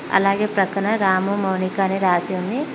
అలాగే పక్కన రాము మౌనిక అని రాసి ఉంది.